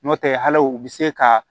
N'o tɛ hal'o bɛ se ka